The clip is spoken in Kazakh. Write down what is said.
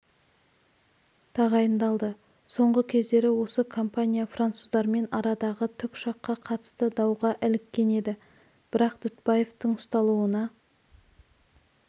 тағайындалды соңғы кездері осы компания француздармен арадағы тікұшаққа қатысты дауға іліккен еді бірақ дүтбаевтың ұсталуына